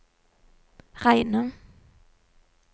reine